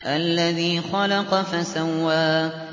الَّذِي خَلَقَ فَسَوَّىٰ